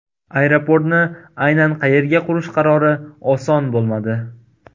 Aeroportni aynan qayerga qurish qarori oson bo‘lmadi.